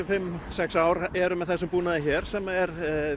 fimm sex ár eru með þessum búnaði hér sem er